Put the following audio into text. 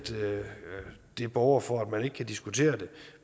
det borger for at man ikke kan diskutere det